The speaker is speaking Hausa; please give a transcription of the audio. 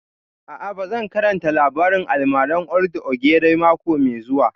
A'a, ba zan karanta labarin almaran old ogre mako mai zuwa